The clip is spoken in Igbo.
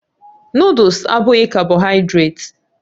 Noddles abụghị kábohaidret